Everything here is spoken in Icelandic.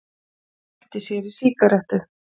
Kveikti sér í sígarettu.